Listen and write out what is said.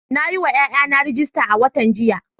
Na yi wa ’ƴa’ƴana rajista a watan jiya.